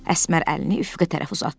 Əsmər əlini üfüqə tərəf uzatdı.